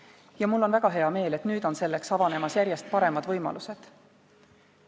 Ja mul on väga hea meel, et nüüd on selleks avanemas järjest paremad võimalused.